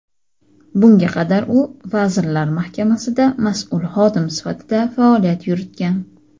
Bunga qadar u Vazirlar Mahkamasida mas’ul xodim sifatida faoliyat yuritgan.